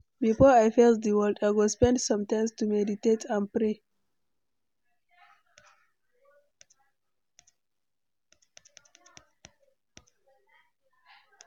Before I face di world, I go spend some time to meditate and pray.